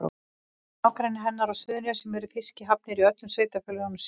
Í nágrenni hennar á Suðurnesjum eru fiskihafnir í öllum sveitarfélögunum sjö.